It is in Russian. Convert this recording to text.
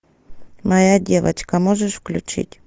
моя девочка можешь включить